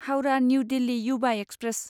Howrah new Delhi Yuva express